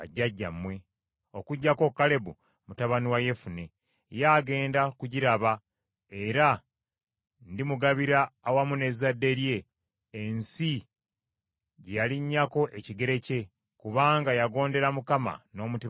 okuggyako Kalebu mutabani wa Yefune. Ye agenda kugiraba, era ndimugabira, awamu n’ezzadde lye, ensi gye yalinnyako ekigere kye; kubanga yagondera Mukama n’omutima gwe gwonna.”